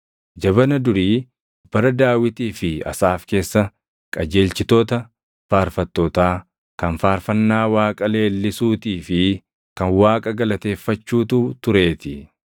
Jabana durii bara Daawitii fi Asaaf keessa qajeelchitoota faarfattootaa, kan faarfannaa Waaqa leellisuutii fi kan Waaqa galateeffachuutu tureetii.